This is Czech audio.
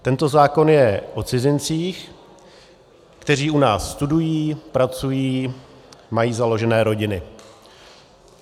Tento zákon je o cizincích, kteří u nás studují, pracují, mají založené rodiny.